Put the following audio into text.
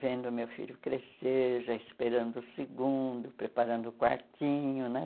Vendo meu filho crescer, já esperando o segundo, preparando o quartinho, né?